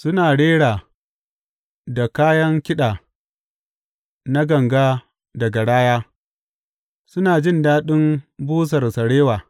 Suna rera da kayan kiɗa na ganga da garaya; suna jin daɗin busar sarewa.